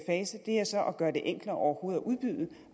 fase er så at gøre det enklere overhovedet at udbyde